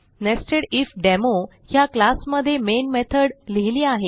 नेसेडिफडेमो ह्या क्लास मध्ये main method लिहिली आहे